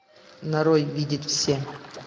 нарой видеть все